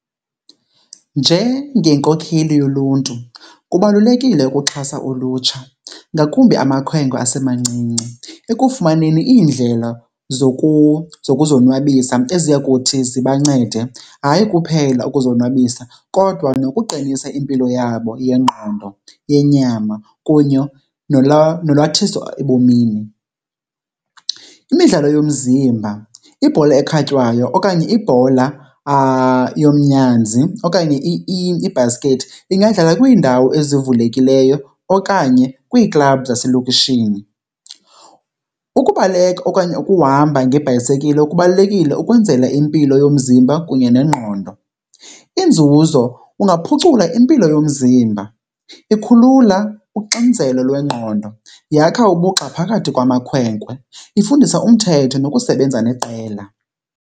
Njengenkokheli yoluntu kubalulekile ukuxhasa ulutsha, ngakumbi amakhwenkwe asemancinci, ekufumaneni iindlela zokuzonwabisa eziya kuthi zibancede hayi kuphela ukuzonwabisa kodwa nokuqinisa impilo yabo yengqondo, yenyama kunye nolwalathiso ebomini. Imidlalo yomzimba, ibhola ekhatywayo okanye ibhola yomnyanzi okanye ibhaskethi ingadlala kwiindawo ezivulekileyo okanye kwiiklabhu zaselokishini. Ukubaleka okanye ukuhamba ngebhayisekile kubalulekile ukwenzela impilo yomzimba kunye nengqondo. Iinzuzo kungaphucula impilo yomzimba, ikhulula uxinzelo lwengqondo, yakha ubugxa phakathi kwamakhwenkwe, ifundisa umthetho nokusebenza neqela.